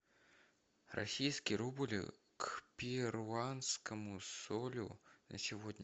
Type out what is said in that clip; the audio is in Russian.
российский рубль к перуанскому солю на сегодня